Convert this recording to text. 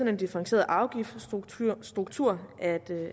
en differentieret afgiftsstruktur at